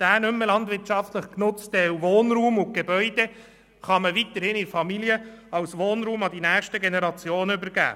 Der Wohnraum und die Gebäude, die nicht mehr landwirtschaftlich genutzt werden, kann man weiterhin in der Familie als Wohnraum an die nächsten Generationen übergeben.